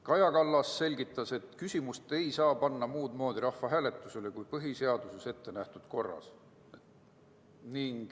Kaja Kallas selgitas, et küsimust ei saa panna rahvahääletusele muud moodi kui põhiseaduses ettenähtud korras.